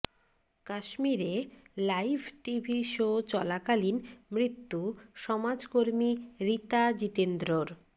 কাশ্মীরে live TV show চলাকালীন মৃত্যু সমাজকর্মী রীতা জিতেন্দ্রর